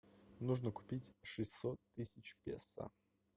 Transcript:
нужно купить шестьсот тысяч песо